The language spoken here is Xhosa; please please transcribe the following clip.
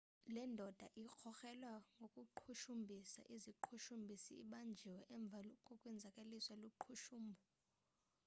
le ndoda irkrokrelwa ngokuqhushumbhisa iziqhushumbhisi ibanjiwe emva kokwenzakaliswa luqhushumbo